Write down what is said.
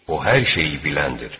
O hər şeyi biləndir.